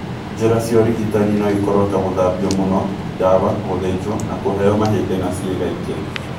Njĩra cia ũrigitani no ikorũo ta gũthambio mũno, ndawa, gũthĩnjwo na kũheo mahĩndĩ na ciĩga ĩngĩ.